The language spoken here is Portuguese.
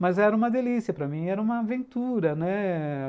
Mas era uma delícia para mim, era uma aventura, né?